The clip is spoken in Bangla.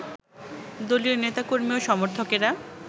দলীয় নেতাকর্মী ও সমর্থকেরা